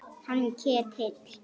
Hann Ketil?